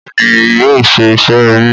Bẹ́ẹ̀ ni, yóò ṣe iṣẹ́ ẹbí.